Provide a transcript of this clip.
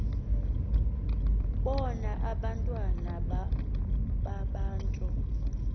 bona abantwana babantu